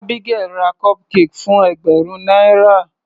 Abigael ra cupcake fún ẹgbẹ̀rún náírà.